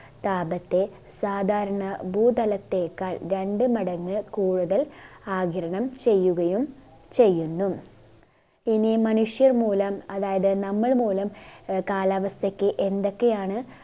താപത്തെ സാധാരണ ഭൂതലത്തേക്കാൾ രണ്ട്‌ മടങ്ങ് കൂടുതൽ ആഗിരണം ചെയ്യുകയും ചെയുന്നു ഇനി മനുഷ്യർ മൂലം അതായത് നമ്മൾ മൂലം ആഹ് കാലാവസ്ഥക്ക് എന്തൊക്കെയാണ്